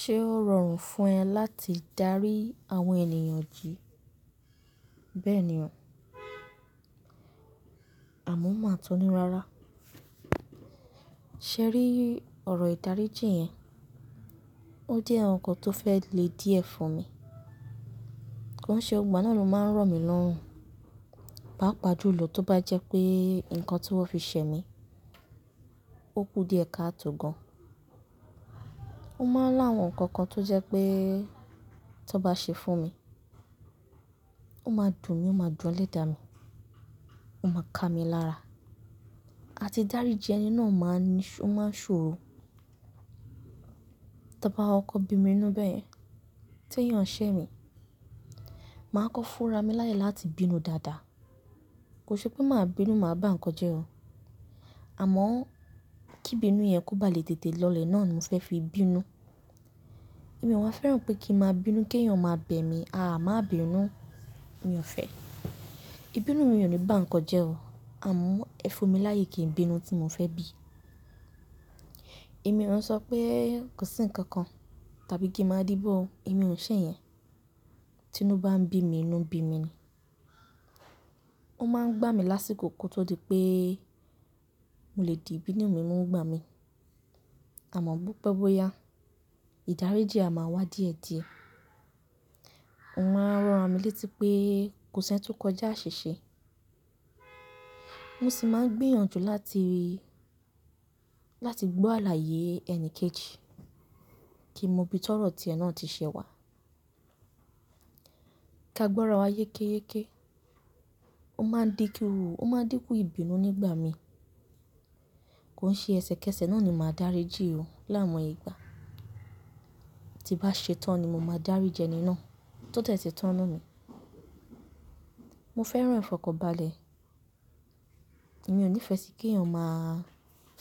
Ṣé ó rọrùn fún ẹ láti darí àwọn ènìyàn jí? Bẹ́ẹ̀ni o. Àmo má tún ní rárá. Sẹ́rí ọ̀rọ̀ ìdáríjìn yẹn, ó jẹ́ àwọn ǹkan tó fẹ́ lè díẹ̀ fún mi. Kò n ṣe gbogbò ìgbà náà ló máa ń rọ̀ mí lọ́rùn. Papà jùlọ tó bá jẹ́ pé nǹkan tí wọ́n fi ṣẹ mí, ó kú díẹ̀ káàtò gan. Ó máa ń láwọn ǹkan kan tó jẹ́ pé tó bá ṣẹ fún mi, ó máa dùn mí, ó máa dùn elèdá mi, ó máa ka mi lára. A ti darí jí ẹni náà máa ń ṣòro. Ton bá kọkọ bí mi inú bẹ́yen, tí èèyàn ṣẹ́ mi, màá kọ́ fúnra mi láyè láti bínú dáadáa. Kò ṣe pé màá bínú, màá bá ǹkan jẹ́ o. Àmọ́ kí ibínú yẹn kó bá lè tètè lọlẹ̀ náà ni mo fẹ́ fi bínú. Ẹ̀mí o wa fẹ́ràn pé kí n máa bínú kí èèyàn máa bẹ̀ mí, "aà má bínú" mi ò fẹ́. Ìbínú mi ò ní bá ǹkan jẹ́ o. Àmọ́ ẹ fún mi láyè kí n bínú tí mo fẹ́ bì. Ẹ̀mí òun ṣọ pé kò sí ǹkan kan tàbí kí n máa díbọ̀ o. Ẹ̀mí òun ṣẹ́ yẹn. Tí inú bá ń bí mi, inú n bí mi ni. Ó máa ń gbá mi lásìkò kó tó di pé mo lè di ìbínú mi mu ń gbá mi. Àmọ́ bó pẹ́ bó yá, ìdáríjì a máa wá díẹ̀díẹ̀. Mo máa ń ranrami létí pé kò sẹ́ń tó kọjá, aṣiṣe. Mo sì máa ń gbìyànjú láti rí, láti gbọ́ àlàyé ẹnìkẹ́ẹ̀ẹ̀jì kí n mo ibí tọ́rọ̀ tí ẹ náà ti ṣẹ wá. Ká gbọ́ra wa yékéyéké. Ó máa ń di ku, ó máa ń dínkù ìbínú nígbà mi. Kò n ṣe ẹsẹ̀kẹsẹ̀ náà ni màá darí jí o láwọn ìgbà. Ti n bá ṣe tán ni mo máa daríji ẹni náà tó de ti tán nínú mi. Mo fẹ́ràn ìfọkọ̀nbalẹ̀. Mi ò ní ìfẹ́ sí kí èèyàn máa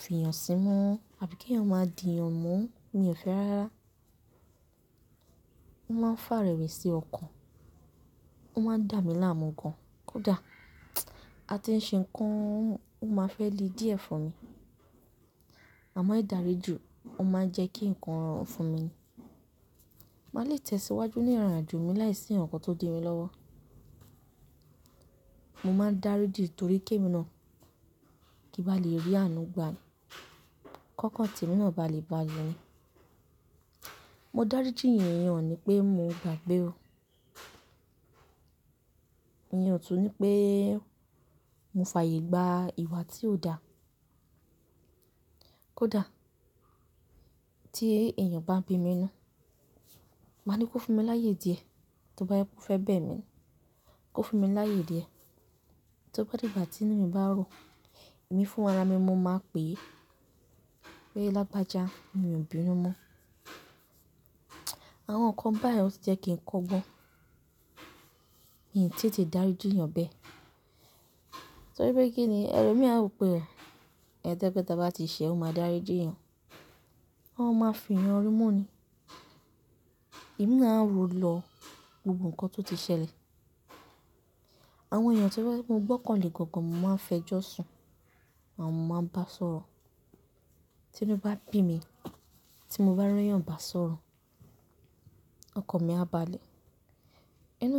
fiyàn sínú àbí kí èèyàn máa di èèyàn mu, mi ò fẹ́ rárá. Ó máa ń fàrèwésí ọkàn. Ó máa ń dà mí láàmú gan. Kò da. A ti ṣe ǹkan ó máa fẹ́ le díẹ̀ fún mi. Àmọ́ ìdáríjì ò máa ń jẹ́ kí ǹkan rọrùn fún mi. Màá lè tẹ̀síwájú ní ìrìnàjò mi láìsí ǹkan kan tó di mi lọ́wọ́. Mo máa ń darí jí torí ké mi náà, kí n bá lè rí àánú gba ni. Kọ̀kan tí èmi náà bá lè báàlé ni. Mo darí jí èèyàn ìyẹn o ni pé mo gbàgbé o. Ìyẹn ò tún ní pé mo fàyègbà ìwà tí ó da. Kò da. Tí èèyàn bá bí mi inú, màá ní kó fún mi láyè díẹ̀ tó bá jẹ́ pé o fẹ́ bẹ̀ mí. Kó fún mi láyè díẹ̀. Tó bá dìgbà tí inú mi bá rùn, èmi fúnra mi mo máa pè é pe lágbàjá, mi ò bínú mọ́. Àwọn ǹkan báyìí ó ti jẹ́ kí n kọ́gbọn. Mi i tètè darí jí èèyàn bẹ́ẹ̀. Torí pé kí ni ẹlo mi á rò pé ẹni tó jẹ́ pé ta bá ti ṣẹ ó máa darí jí èèyàn. Wọn máa ń fiyàn rinmu ni. Ẹ̀mí náà a ro lọ gbogbo ǹkan tó ti ṣẹlẹ̀. Àwọn èèyàn tó bá jẹ́ pé mo gbọ́kànlé gangan n mo máa ń fẹjọ́sùn àwọn mo máa ń bá sọ̀rọ̀. Tí inú bá bí mi, tí mo bá rí ẹ̀yàn bá sọ̀rọ̀, ọkan mi a báàlé. Inú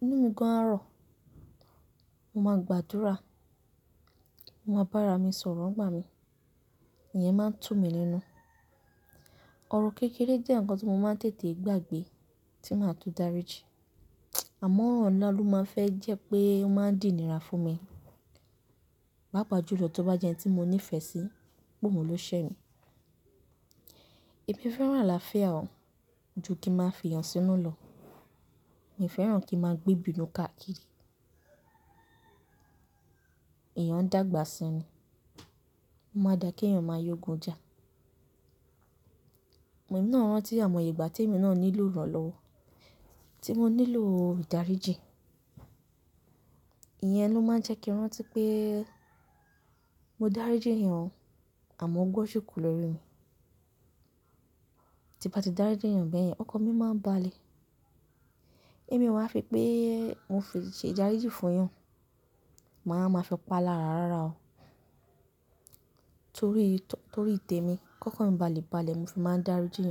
mi gan á rọ̀. Mo máa gbàdúrà. Mo máa bá ara mi sọ̀rọ̀ ń gbà mí. Ìyẹn máa ń tú mi nínú. Ọ̀rọ̀ kékeré jẹ́ ǹkan tí mo máa ń tètè gbàgbé tí màá tún daríjí. Àmọ́ ọ̀rọ̀ ńlá ló máa ń fẹ́ jẹ́ pé ó máa ń dínira fún mi. Papàjùlọ tó bá jẹ́ ẹni tí mo nífẹ̀ẹ́ sí, pé ohun ló ṣẹ́ mi. Ẹmí fẹ́ràn alááfíà o ju kí n máa fi ìyàn sínú lọ. Mi i fẹ́ràn kí n máa gbé ìbínú káàkiri. Eeyàn n dágbà sí ni. Ó máa n da kí èèyàn máa yógun jà. Ẹ̀mí náà ń rántí àwọn ìgbà tí èmi náà nílò ìrànlọ́wọ́, tí mo nílò ìdáríjì. Ìyẹn ló máa ń jẹ́ kí n rántí pé mo darí jí èèyàn àmọ́ ógbọ́n ṣi kú lórí mi. Ti n bá ti darí jí èèyàn bẹ́ẹ̀ yẹn, ọkàn mi máa ń báàlé. Ẹ̀mí ò wa f, pé mò f, ṣe ìdáríjì fún èèyàn, màá wa máa fi pa lára rárá o. Torí tò-- torí tẹ́mi, kọ̀kan mi bá lè báàlé, mo fi máa n darí jíyan.